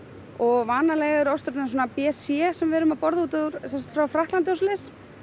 og vanalega eru ostrurnar svona b c sem við erum að borða semsagt frá Frakklandi og svoleiðis